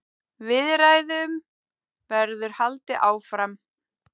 Viðræðum verður haldið áfram.